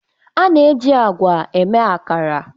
A na-eji agwa eme akara